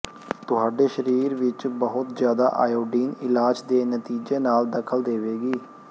ਤੁਹਾਡੇ ਸਰੀਰ ਵਿੱਚ ਬਹੁਤ ਜ਼ਿਆਦਾ ਆਇਓਡੀਨ ਇਲਾਜ ਦੇ ਨਤੀਜੇ ਨਾਲ ਦਖਲ ਦੇਵੇਗੀ